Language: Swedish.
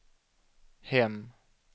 hem